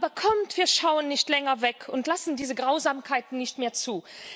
Aber kommt, wir schauen nicht länger weg und lassen diese Grausamkeiten nicht mehr zu.